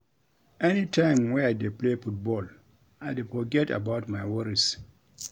Any time wey I dey play football I dey forget about my worries